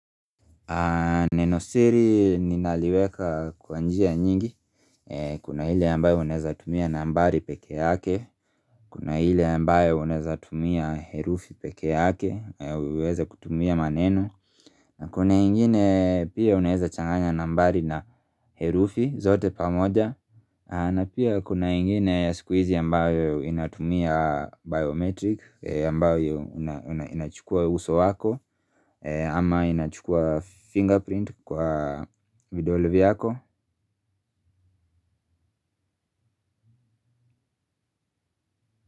Nenosiri ninaliweka kwa njia nyingi. Kuna ile ambayo unaeza tumia nambari peke yake. Kuna ile ambayo unaeza tumia herufi pekee yake uweze kutumia maneno. Kuna ingine pia unaeza changanya nambari na herufi zote pamoja. Na pia kuna ingine ya siku hizi ambayo inatumia biometric ambayo inachukua uso wako. Ama inachukuwa fingerprint kwa vidole vyako.